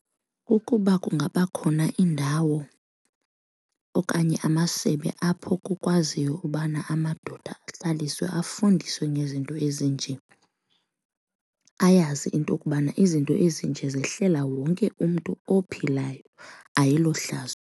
Kukuba kungaba khona iindawo okanye amasebe apho kukwaziyo ukubana amadoda ahlaliswe afundiswe ngezinto ezinje ayazi into kubana izinto ezinje zehlela wonke umntu ophilayo ayilohlazo.